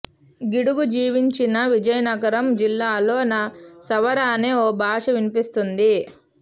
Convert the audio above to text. గిడుగు జీవించిన విజయనగరం జిల్లాలో సవర అనే ఒక భాష వినిపిస్తుంది